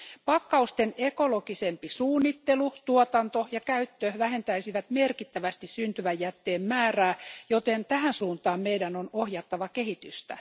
Pakkausten ekologisempi suunnittelu, tuotanto ja käyttö vähentäisivät merkittävästi syntyvän jätteen määrää, joten tähän suuntaan meidän on ohjattava kehitystä.